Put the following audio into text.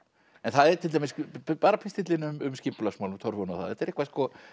bara pistillinn um skipulagsmálin torfuna og það þetta er eitthvað